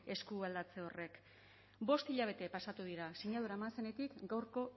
eskualdatze horrek bost hilabete pasatu dira sinadura eman zenetik gaurko